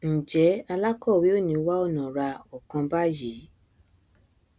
njẹ alákọwé ò ní wá ọnà ra ọkan báyìí